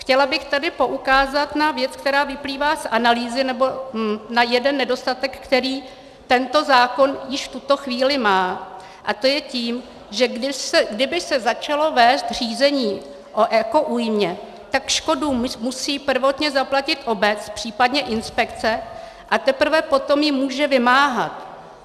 Chtěla bych tady poukázat na věc, která vyplývá z analýzy, nebo na jeden nedostatek, který tento zákon již v tuto chvíli má, a to je tím, že kdyby se začalo vést řízení o ekoújmě, tak škodu musí prvotně zaplatit obec, případně inspekce, a teprve potom ji může vymáhat.